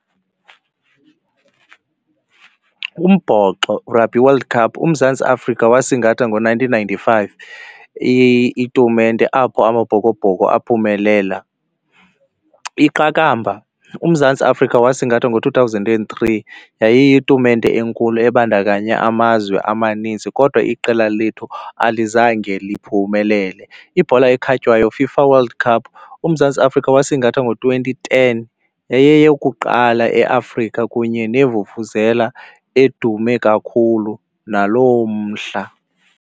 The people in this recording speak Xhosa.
Umbhoxo, Rugby World Cup, uMzantsi Afrika wasingatha ngo-nineteen ninety-five itumente apho amabhokobhoko aphumelela. Iqakamba, uMzantsi Afrika wasingatha ngo-two thousand and three, yayiyitumente enkulu ebandakanya amazwe amaninzi kodwa iqela lethu alizange liphumelele. Ibhola ekhatywayo, FIFA World Cup, uMzantsi Afrika wasingatha ngo-twenty ten. Yayiyeyokuqala eAfrika kunye neevuvuzela edume kakhulu naloo mhla.